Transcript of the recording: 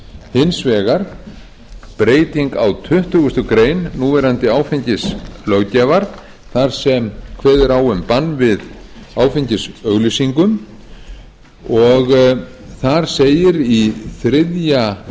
hins vegar breyting á tuttugustu greinar núverandi áfengislöggjafar þar sem kveðið er á um bann við áfengisauglýsingum þar segir í þriðja